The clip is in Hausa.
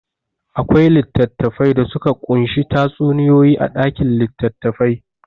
Akwai littattafai da suka ƙunshi tatsuniyoyi a ɗakin litattafai.